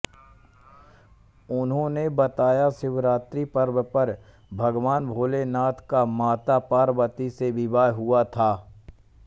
उन्होंने बताया शिवरात्रि पर्व पर भगवान भोलेनाथ का माता पार्वती से विवाह हुुआ था